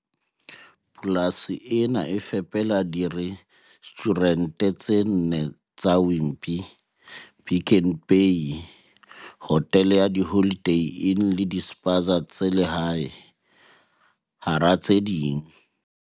Polasi ena e fepela dire stjhurente tse nne tsa Wimpy, Pick n Pay, hotele ya Holiday Inn le dispaza tsa lehae, hara tse ding.